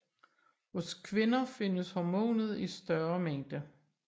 Hos kvinder findes hormonet i større mængde